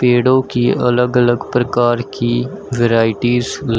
पेड़ों की अलग अलग प्रकार की वैराइटीज --